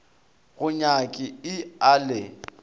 go nyaki i a le